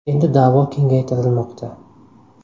Endi da’vo kengaytirilmoqda.